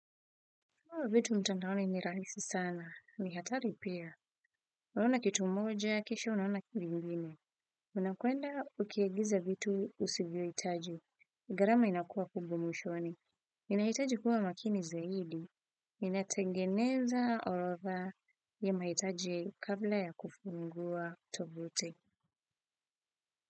Hmm vitu mtantaoni ni rahisi sana. Ni hatari pia. Unaona kitu moja kesho unaona vingine. Una kwenda ukiagiza vitu usivyo hitaji. Gharama inakua kubwa mwishoni. Inahitaji kuwa makini zaidi. Inatengeneza orotha ya mahitaji kabla ya kufungua tuvuti.